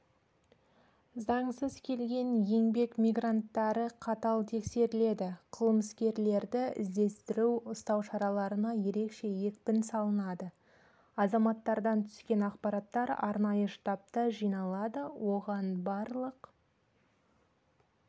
заңсыз келген еңбек мигранттары қатал тексеріледі қылмыскерлерді іздестіру ұстау шараларына ерекше екпін салынады азаматтардан түскен ақпараттар арнайы штабта жиналады оған барлық